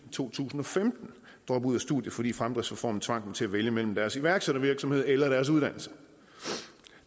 to tusind og femten droppe ud af studiet fordi fremdriftsreformen tvang dem til at vælge mellem deres iværksættervirksomhed eller deres uddannelse